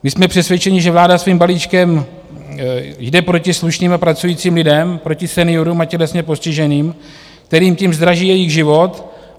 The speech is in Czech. My jsme přesvědčeni, že vláda svým balíčkem jde proti slušným a pracujícím lidem, proti seniorům a tělesně postiženým, kterým tím zdraží jejich život.